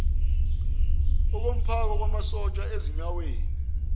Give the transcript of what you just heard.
okomphako wamasotsha ezinyaweni